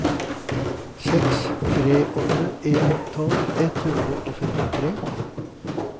seks tre åtte en tolv ett hundre og femtitre